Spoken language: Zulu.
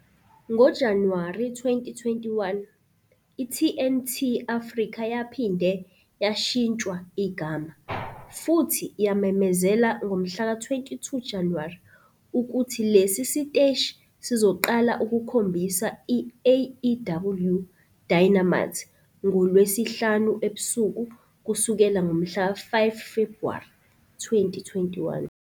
NgoJanuwari 2021, i-TNT Africa yaphinde yashintshwa igama, futhi yamemezela ngomhlaka 22 Januwari ukuthi lesi siteshi sizoqala ukukhombisa i-AEW Dynamite ngoLwesihlanu ebusuku kusukela ngomhlaka 5 Febhuwari 2021.